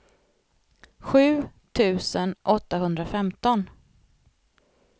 sju tusen åttahundrafemton